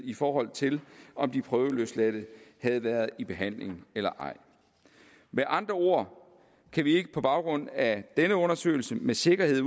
i forhold til om de prøveløsladte havde været i behandling eller ej med andre ord kan vi ikke på baggrund af denne undersøgelse med sikkerhed